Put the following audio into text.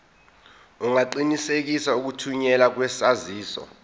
ungaqinisekisa ukuthunyelwa kwesaziso